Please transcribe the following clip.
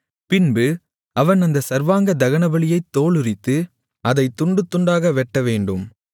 பின்பு அவன் அந்தச் சர்வாங்க தகனபலியைத் தோலுரித்து அதைத் துண்டுதுண்டாக வெட்டவேண்டும்